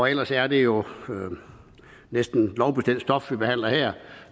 ellers er det jo næsten kun lovbestemt stof vi behandler her